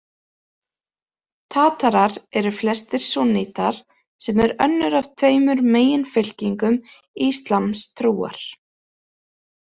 Tatarar eru flestir súnnítar, sem er önnur af tveimur meginfylkingum íslamstrúar.